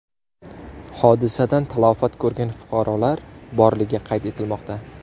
Hodisadan talafot ko‘rgan fuqarolar borligi qayd etilmoqda.